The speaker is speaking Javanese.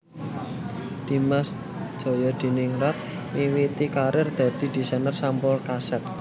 Dimas Djayadiningrat miwiti karir dadi desainer sampul kaset